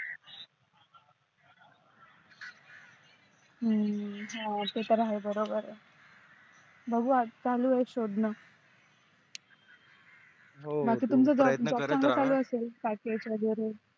हम्म हा ते तर आहे बरोबर आहे बघू आता चालू आहे शोधण हो प्रयत्न करत रहा बाकी तुमच job वेगेरे चालू असेल